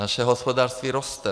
Naše hospodářství roste.